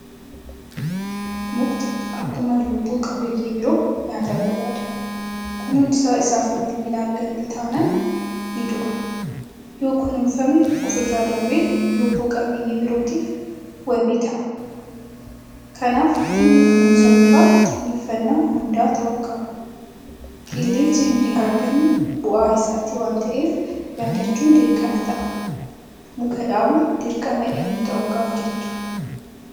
Mukti akkuma lubbu qabeeyyii biroo nyaata barbaada. Kunuunsa isaaf malu hinatganne taanaan nidu'a. Yookunuunfame ofirra darbee lubbu qabeeyyii birootiifis wabii ta'a. Kanaaf dhimmi kunuunsa mukaa xiyyeeffanaa hundaa ta'uu qaba. Qilleensi nuti hargannu bu'aa isaaniiti waanta'eef yaadachuun dirqama ta'a. Muka dhaabuun dirqama eenyuu ta'uu qaba jettu?